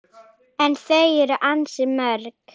En þau eru ansi mörg